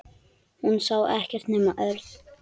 Hún sá ekkert nema Örn.